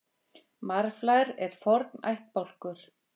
Marflær eru forn ættbálkur.